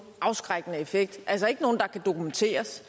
afskrækkende effekt altså ikke nogen der kan dokumenteres